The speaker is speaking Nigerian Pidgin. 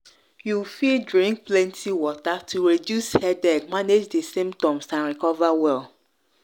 you fit drink plenty water to reduce headache manage di symptoms and recover well.